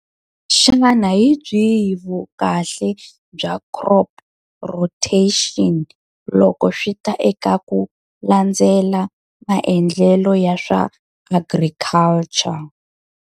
Xana hi byihi vukahle bya crop rotation loko swi ta eka ku landzela maendlelo ya swa agriculture?